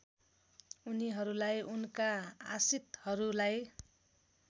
उनीहरूलाई उनका आश्रितहरूलाई